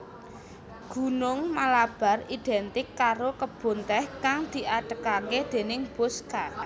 Gunung Malabar identik karo kebun tèh kang diadegaké déning Bosscha